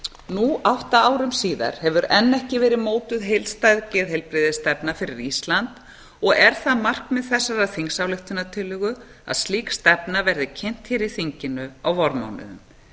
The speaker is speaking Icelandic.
nú átta árum síðar hefur enn ekki verið mótuð heildstæð geðheilbrigðisstefna fyrir ísland og er það markmið þessarar þingsályktunartillögu að slík stefna verði kynnt hér í þinginu á vormánuðum